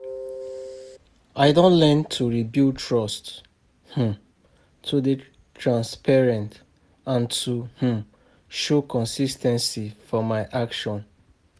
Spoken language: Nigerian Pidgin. I don learn to rebuild trust, um to dey transparent and to um show consis ten cy for my actions.